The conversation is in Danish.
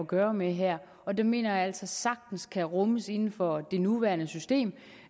gøre med her og den mener jeg altså sagtens kan rummes inden for det nuværende system